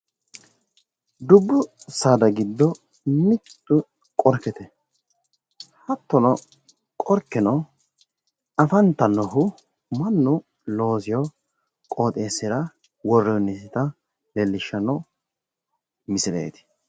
Dubbu saada giddo mittu qorkete hattono qorkeno afatannohu mannu loosewo qooxeessira worranniseta leellishshanno misileeti.